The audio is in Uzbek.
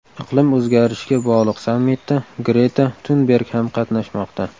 Iqlim o‘zgarishiga bog‘liq sammitda Greta Tunberg ham qatnashmoqda.